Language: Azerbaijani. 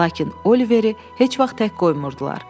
Lakin Oliveri heç vaxt tək qoymurdular.